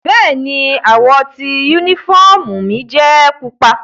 Bẹ́ẹ̀ni, àwọ ti unifọmú mi jẹ pupa.